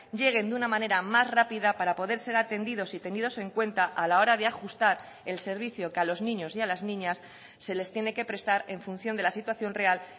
lleguen de una manera más rápida para poder ser atendidos y tenidos en cuenta a la hora de ajustar el servicio que a los niños y a las niñas se les tiene que prestar en función de la situación real